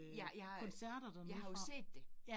Jeg jeg, jeg har jo set det